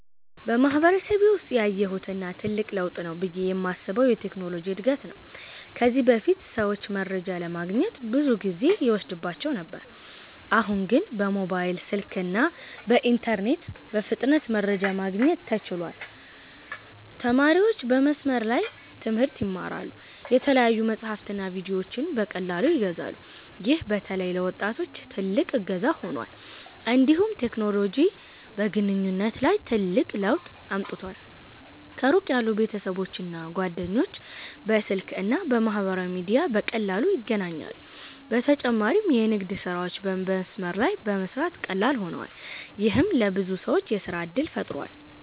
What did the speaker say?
በማህበረሰቤ ውስጥ ያየሁት እና ትልቅ ለውጥ ነው ብዬ የማስበው የቴክኖሎጂ እድገት ነው። ከዚህ በፊት ሰዎች መረጃ ለማግኘት ብዙ ጊዜ ይወስድባቸው ነበር፤ አሁን ግን በሞባይል ስልክና በኢንተርኔት በፍጥነት መረጃ ማግኘት ተችሏል። ተማሪዎች በመስመር ላይ ትምህርት ይማራሉ፣ የተለያዩ መጻሕፍትና ቪዲዮዎችንም በቀላሉ ያገኛሉ። ይህ በተለይ ለወጣቶች ትልቅ እገዛ ሆኗል። እንዲሁም ቴክኖሎጂ በግንኙነት ላይ ትልቅ ለውጥ አምጥቷል። ከሩቅ ያሉ ቤተሰቦችና ጓደኞች በስልክ እና በማህበራዊ ሚዲያ በቀላሉ ይገናኛሉ። በተጨማሪም የንግድ ስራዎች በመስመር ላይ በመስራት ቀላል ሆነዋል፣ ይህም ለብዙ ሰዎች የሥራ እድል ፈጥሯል።